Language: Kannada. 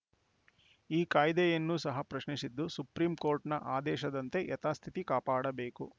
ಈ ಕಾಯ್ದೆಯನ್ನು ಸಹ ಪ್ರಶ್ನಿಸಿದ್ದು ಸುಪ್ರೀಂಕೋರ್ಟ್‌ನ ಆದೇಶದಂತೆ ಯಥಾಸ್ಥಿತಿ ಕಾಪಾಡಬೇಕು